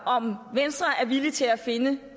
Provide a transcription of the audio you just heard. om venstre er villig til at finde